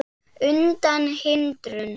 undan hindrun